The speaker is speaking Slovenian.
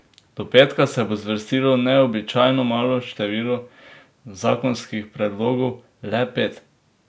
Do petka se bo zvrstilo neobičajno malo število zakonskih predlogov, le pet.